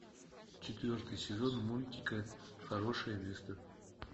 четвертый сезон мультика хорошее место